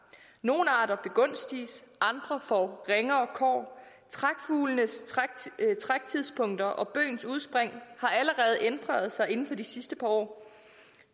nogle arter begunstiges andre får ringere kår trækfuglenes træktidspunkter og bøgens udspring har allerede ændret sig inden for de sidste par år